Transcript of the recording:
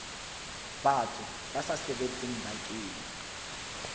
batho ba sa sebetseng bakeng